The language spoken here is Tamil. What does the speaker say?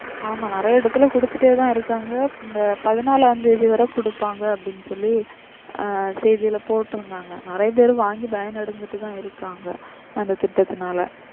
ஆமா நிறைய இடத்துல கொடுத்துட்டேதான் இருக்காங்க. இந்த பதினாலாம் தேதி வரை கொடுப்பாங்க அப்படினு சொல்லி ஆஹ் செய்தில போட்டிருந்தாங்க நிறைய பேர் வாங்கி பயனடைஞ்சிட்டுதான் இருக்காங்க அந்த திட்டத்துனால